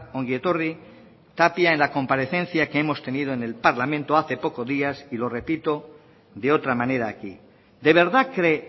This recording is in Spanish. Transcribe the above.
ongi etorri tapia en la comparecencia que hemos tenido en el parlamento hace pocos días y lo repito de otra manera aquí de verdad cree